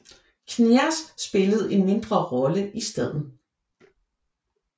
Knyaz spillede en mindre rolle i staden